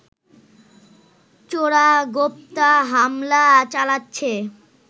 চোরাগোপ্তা হামলা চালাচ্ছে